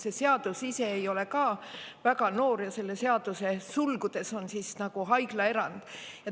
See seadus ei ole väga noor ja selle seaduse nimes on sulgudes "haiglaerand".